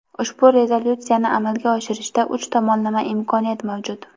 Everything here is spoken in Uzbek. ushbu rezolyutsiyani amalga oshirishda uch tomonlama imkoniyat mavjud.